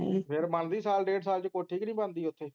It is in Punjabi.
ਫੇਰ ਬਣਦੀ ਸਾਲ ਡੇਢ ਸਾਲ ਚ ਕੋਠੀ ਕਿ ਨੀ ਬਣਦੀ ਓਥੇ?